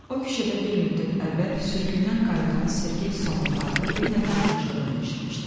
O küçədə bir müddət əvvəl sürgündən qayıdan Sergey Somov adlı bir nəfərin yaşadığını eşitmişdim.